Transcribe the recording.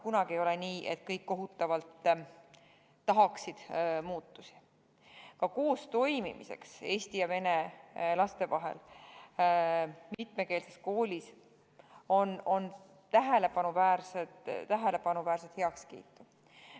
Kunagi ei ole nii, et kõik kohutavalt tahaksid muutusi, aga ka eesti ja vene laste koos õppimiseks mitmekeelses koolis on näha tähelepanuväärset heakskiitu.